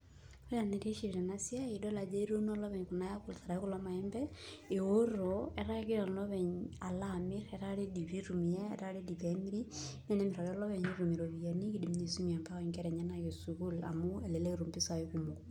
Ore enaitiship tena siai naa etii kulo maembe alo amirr etaa ready pee emiri naa enimirr nitum mpisaai.